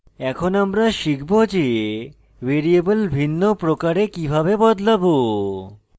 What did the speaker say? এখন আমরা শিখব যে ভ্যারিয়েবল ভিন্ন প্রকারে কিভাবে বদলাবো